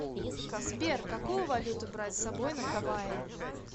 сбер какую валюту брать с собой на гавайи